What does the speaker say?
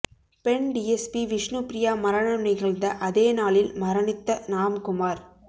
பெண் டிஎஸ்பி விஷ்ணுப்பிரியா மரணம் நிகழ்ந்த அதே நாளில் மரணித்த ராம்குமார்